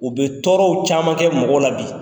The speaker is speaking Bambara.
U bɛ tɔɔrɔw caman kɛ mɔgɔ la bi.